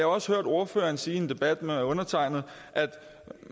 også hørt ordføreren sige i en debat med undertegnede at